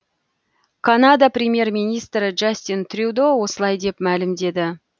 канада премьер министрі джастин трюдо осылай мәлімдеді